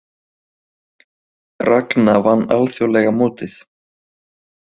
Ragna vann alþjóðlega mótið